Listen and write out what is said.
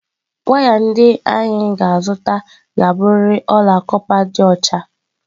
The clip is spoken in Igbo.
Waya ndị anyị ga-azụta ga-abụrịrị ọla kọpa dị ọcha